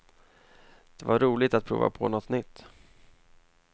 Det var roligt att prova på något nytt.